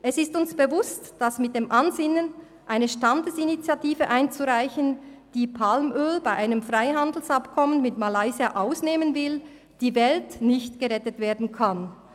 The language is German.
Es ist uns bewusst, dass mit dem Ansinnen, eine Standesinitiative einzureichen, die Palmöl von einem Freihandelsabkommen mit Malaysia ausnehmen will, die Welt nicht gerettet werden kann.